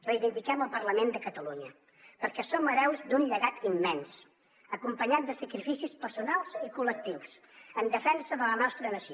reivindiquem el parlament de catalunya perquè som hereus d’un llegat immens acompanyat de sacrificis personals i col·lectius en defensa de la nostra nació